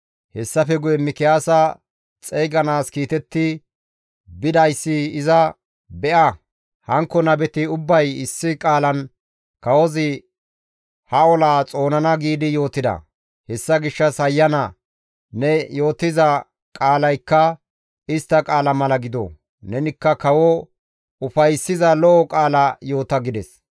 Hessafe guye Mikiyaasa xeyganaas kiitetti bidayssi iza, «Be7a, hankko nabeti ubbay issi qaalan, ‹Kawozi ha olaa xoonana› giidi yootida; hessa gishshas hayyana ne yootiza qaalaykka istta qaala mala gido; nenikka kawo ufayssiza lo7o qaala yoota» gides.